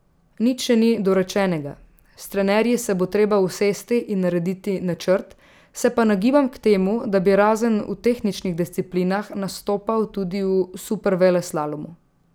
Nič še ni dorečenega, s trenerji se bo treba usesti in narediti načrt, se pa nagibam k temu, da bi razen v tehničnih disciplinah nastopal tudi v superveleslalomu.